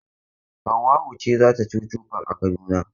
Hauwa'u ce za ta chuchu park Kaduna.